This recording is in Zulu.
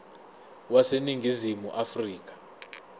wase ningizimu afrika